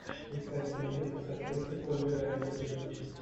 искать фильмец с актрисой ольгой равицкой